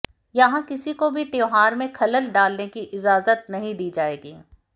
यहां किसी को भी त्यौहार में खलल डालने की इजाजत नहीं दी जाएगी